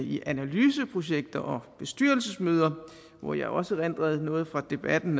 i analyseprojekter og bestyrelsesmøder hvor jeg også erindrer noget fra debatten